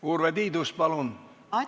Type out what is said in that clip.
Urve Tiidus, palun!